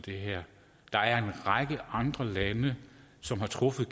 det her der er en række andre lande som har truffet